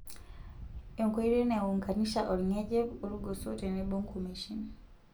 Enkoitoi naiunganisha olngejep olgoso tenebo nkumeishin.